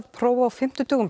próf á fimmtudögum